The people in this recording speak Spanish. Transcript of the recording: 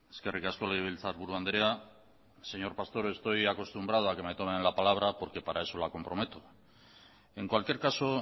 eskerrik asko legebiltzarburu andrea señor pastor estoy acostumbrado a que me tomen la palabra porque para eso la comprometo en cualquier caso